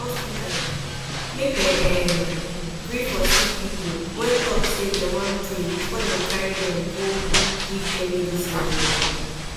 hospitas eh make dem erm gree for sicki pipu wen talk say dem wan pray befor dem carry dem go give them midicine oh